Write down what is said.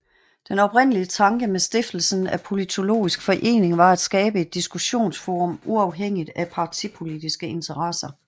Den oprindelige tanke med stiftelsen af Politologisk Forening var at skabe et diskussionsforum uafhængigt af partipolitiske interesser